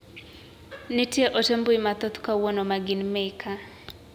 Nitie ote mbui mathoth kawuono ma gin meka.